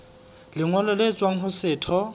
lengolo le tswang ho setho